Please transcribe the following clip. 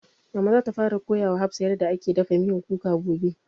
Mama za ta fara koya wa hafsah yarda ake dafa miyan kuka gobe